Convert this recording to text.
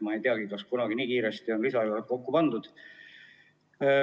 Ma ei tea, kas nii kiiresti üldse on kunagi lisaeelarvet kokku pandud.